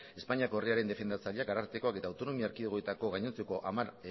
espainiako herrialdearen defendatzaileak arartekoak eta autonomi erkidegoetako gainontzeko hamar